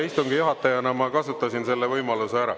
Istungi juhatajana ma kasutasin selle võimaluse ära.